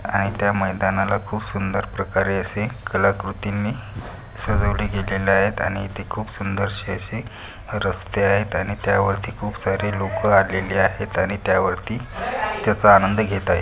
आणि त्या मैदनाला खूप सुंदर प्रकारे असे कलाकृतीने सजवली गेलेले आहेत आणि ते खूप सुंदरसे असे रस्ते आहेत आणि त्या वरती खूप सारे लोक आलेले आहेत आणि त्या वरती त्याचा आनंद घेत आहे.